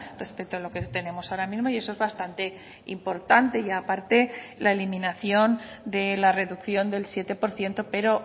respecto a lo que tenemos ahora mismo y eso es bastante importante y aparte la eliminación de la reducción del siete por ciento pero